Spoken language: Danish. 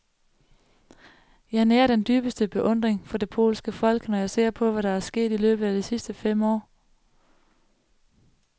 Jeg nærer den dybeste beundring for det polske folk, når jeg ser på, hvad der er sket i løbet af de sidste fem år.